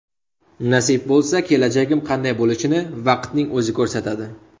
Nasib bo‘lsa, kelajagim qanday bo‘lishini vaqtning o‘zi ko‘rsatadi.